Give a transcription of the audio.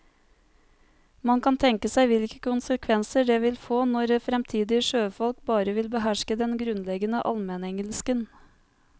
Man kan tenke seg hvilke konsekvenser det vil få når fremtidige sjøfolk bare vil beherske den grunnleggende almenengelsken.